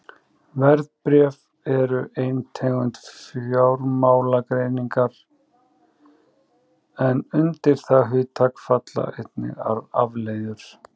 Verðbréf eru ein tegund fjármálagerninga en undir það hugtak falla einnig afleiður.